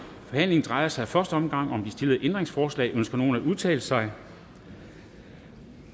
forhandlingen drejer sig i første omgang om de stillede ændringsforslag ønsker nogen at udtale sig